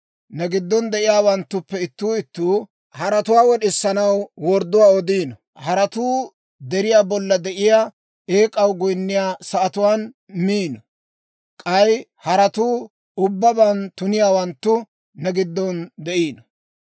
Ne giddon de'iyaawanttuppe ittuu ittuu haratuwaa wod'isanaw wordduwaa odiino; haratuu deriyaa bolla de'iyaa eek'aw goyinniyaa sa'atuwaan miino; k'ay haratuu ubbabaan tuniyaawanttu ne gidon de'ino.